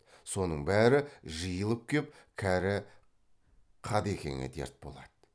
соның бәрі жиылып кеп кәрі қадекеңе дерт болады